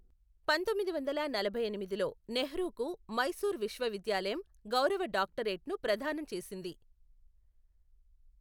పంతొమ్మిది వందల నలభై ఎనిమిదిలో నెహ్రూకు మైసూర్ విశ్వవిద్యాలయం గౌరవ డాక్టరేట్ను ప్రదానం చేసింది.